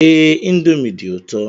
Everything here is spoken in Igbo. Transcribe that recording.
Ee, indomie dị ụtọ